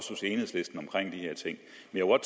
noget